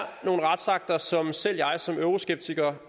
nogle retsakter som selv jeg som euroskeptiker